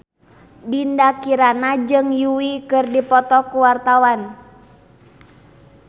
Dinda Kirana jeung Yui keur dipoto ku wartawan